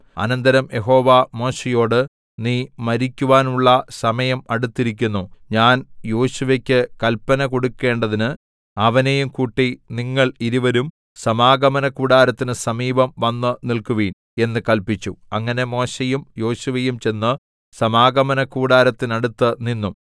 അനന്തരം യഹോവ മോശെയോട് നീ മരിക്കുവാനുള്ള സമയം അടുത്തിരിക്കുന്നു ഞാൻ യോശുവക്ക് കല്പന കൊടുക്കണ്ടതിന് അവനെയും കൂട്ടി നിങ്ങൾ ഇരുവരും സമാഗമനകൂടാരത്തിനു സമീപം വന്നു നില്‍ക്കുവിൻ എന്നു കല്പിച്ചു അങ്ങനെ മോശെയും യോശുവയും ചെന്ന് സമാഗമനകൂടാരത്തിനടുത്ത് നിന്നു